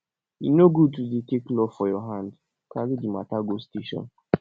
e no good to dey take law for your hand carry di mata go station